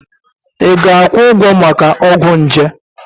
Ị ga-akwụ ụgwọ maka ọgwụ nje?